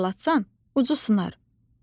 Çox fırlatsan, ucu sınar.